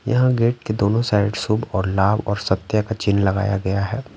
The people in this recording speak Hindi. यहाँ गेट के दोनों साइड शुभ और लाभ और सत्य का चिन्ह लगाया गया हैं।